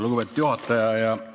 Lugupeetud juhataja!